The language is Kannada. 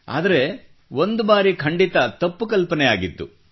ಆದರೆ ಒಂದು ಬಾರಿ ಖಂಡಿತ ತಪ್ಪು ಕಲ್ಪನೆ ಆಗಿತ್ತು